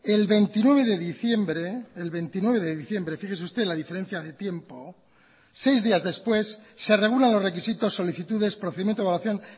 el veintinueve de diciembre el veintinueve de diciembre fíjese usted la diferencia de tiempo seis días después se regulan los requisitos solicitudes procedimiento de evaluación